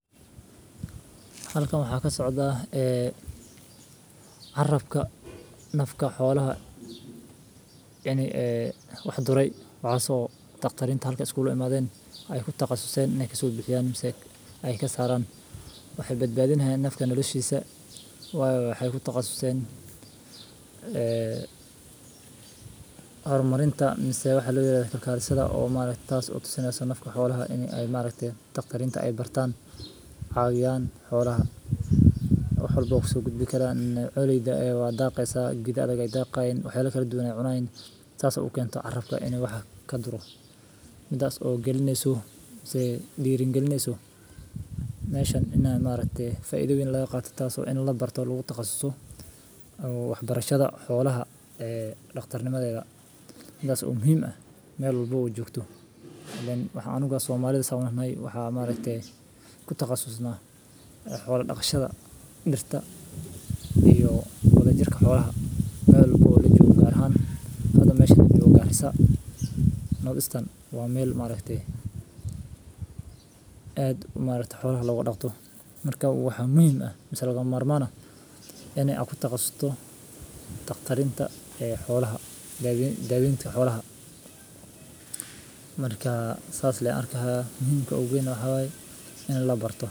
Halkan waxaa ka socda ah ee carabka nafka xoolaha. Ya'ni, eh, waxa duray wacsoo taqtarinta halka iskuulimaadayn ay ku takhasusayn inay kasoo bixiyaan nimcey, ay ka saran. Waxay badbaadinahay nafka noolishiiisa oo ay wax ku takhasusayn, eh, horumarinta, nimmada waxaa la yiraahdo kalkaalada oo maarey taas u tusinaya nafka xoolaha inay ay maareytaa. Taqtariintu ay bartaan caawiyaan xoolaha. Wuxuu booqso godad bikal ah culida eey wa daaqaysa gida adag ay daaqayn u xeele kala duwan ay cunaan taas oo u keento carabka in wax ka durro. Midaas oo gelinayso, isee dhiirin gelinayso. Naashan in aan maareytee faaiido wayn la yaqaato taas oo in la barto lagu takhasuso. Uuu waxbarashada xoolaha, ee dhakhtar nimadeega. Midaas muhiim ah meel walbo u joogto. Lan waxaan ugaasoo Soomaaliyeed aheynay waxaa maareytee ku takhasusno xoolo dhaqshada, dhirta iyo qodojarka xoolaha. Meel boqo loo joogo gaar ahaan hadda meesha jooga ah isaga. Northeastern waa meel maareytee. Aad ku maareytaa xoolo la ula dhaqto? Markaa wuxuu muhiim ah misalka marmaana inay aan ku takhasuso taqtarinta ee xoolaha. Daabin daabinta xoolaha. Markaa saas leen arkaha muhiimka ugu weyn oo xawaaye in la barto.